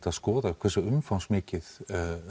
að skoða hversu umfangsmikið